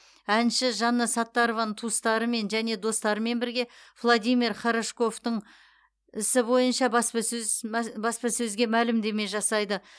әнші жанна саттарованың туыстарымен және достарымен бірге владимир хорошковтың ісі бойынша баспасөз баспасөзге мәлімдеме жасайды